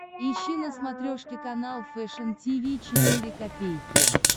ищи на смотрешке канал фэшн ти ви четыре ка